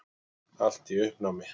Allt í uppnámi.